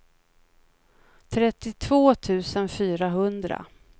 trettiotvå tusen fyrahundra